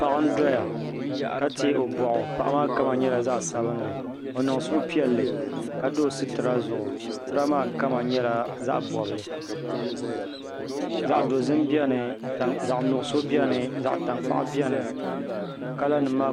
Paɣa n doya ka tiɛ o boɣu paɣa maa kama nyɛla zaɣ sabinli o niŋ suhupiɛlli ka do sitira zuɣu sitira maa kama nyɛla zaɣ bobgu zaɣ dozim biɛni zaɣ tankpaɣu biɛni zaɣ nuɣso biɛni kala nim maa